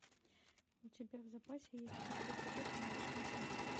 у тебя в запасе есть пятый эпизод необычная семья